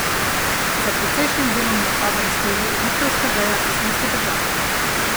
Za precejšnjim delom napadom stoji egiptovska veja Islamske države.